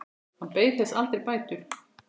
Hann beið þess aldrei bætur.